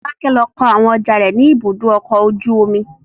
Fọlákẹ́ lọ kó àwọn ọjà rẹ̀ ní Ibùdó-ọkọ̀ ojú-omi.